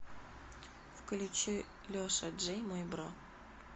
включи леша джей мой бро